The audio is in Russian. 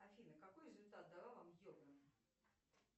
афина какой результат дала вам йога